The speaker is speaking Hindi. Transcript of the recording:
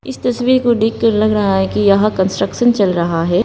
इस तस्वीर को देख कर लग रहा है कि यहां कंट्रशन चल रहा है।